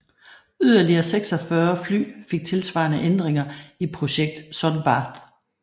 Yderligere 46 fly fik tilsvarende ændringer i projekt Sun Bath